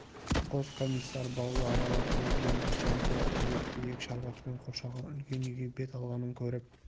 қос комиссар бауды аралап жүріп енді жан-жағы тұйық биік шарбақпен қоршалған үлкен үйге бет алғанын көріп